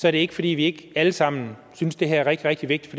er det ikke fordi vi ikke alle sammen synes det her er rigtig rigtig vigtigt